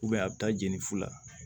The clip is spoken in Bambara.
a bɛ taa jenini fu la